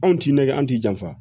Anw t'i nɛgɛ an t'i janfa